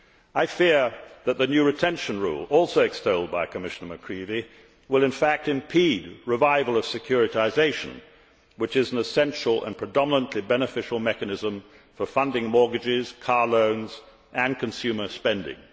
I fear that the new retention rule, also extolled by Commissioner McCreevy, will, in fact, impede the revival of securitisation, which is an essential and predominantly beneficial mechanism for funding mortgages, car loans and consumer spending.